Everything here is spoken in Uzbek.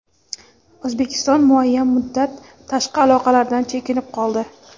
O‘zbekiston muayyan muddat tashqi aloqalardan chekinib qoldi.